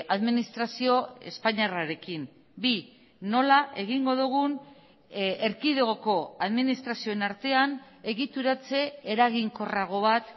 administrazio espainiarrarekin bi nola egingo dugun erkidegoko administrazioen artean egituratze eraginkorrago bat